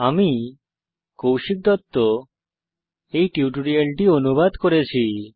আমি কৌশিক দত্ত এই টিউটোরিয়ালটি অনুবাদ করেছি